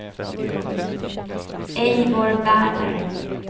Eivor Werner